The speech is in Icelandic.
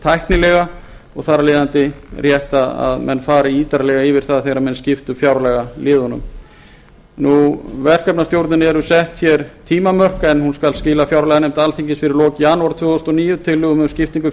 tæknilega og þar af leiðandi rétt að menn fari ítarlega yfir það þegar menn skipta fjárlagaliðunum verkefnastjórninni eru sett tímamörk en hún skal skila fjárlaganefnd alþingis fyrir lok janúar tvö þúsund og níu tillögum um skiptingu